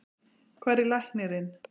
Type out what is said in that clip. Hvar er læknirinn?